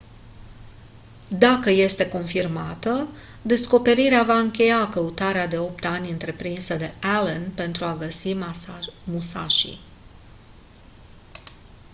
dacă este confirmată descoperirea va încheia căutarea de opt ani întreprinsă de allen pentru a găsi musashi